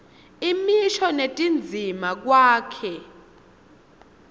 imisho netindzima kwakheke